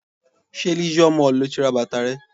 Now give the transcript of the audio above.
Ṣé Leisure Mall ni o ti ra bàtà rẹ?